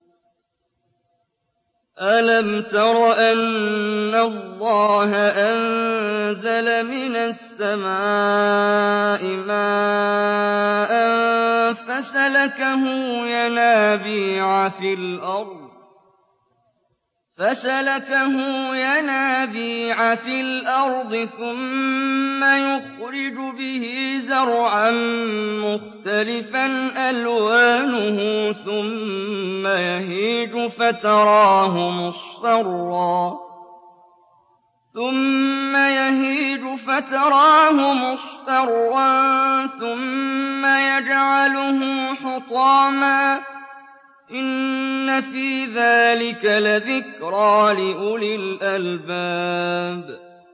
أَلَمْ تَرَ أَنَّ اللَّهَ أَنزَلَ مِنَ السَّمَاءِ مَاءً فَسَلَكَهُ يَنَابِيعَ فِي الْأَرْضِ ثُمَّ يُخْرِجُ بِهِ زَرْعًا مُّخْتَلِفًا أَلْوَانُهُ ثُمَّ يَهِيجُ فَتَرَاهُ مُصْفَرًّا ثُمَّ يَجْعَلُهُ حُطَامًا ۚ إِنَّ فِي ذَٰلِكَ لَذِكْرَىٰ لِأُولِي الْأَلْبَابِ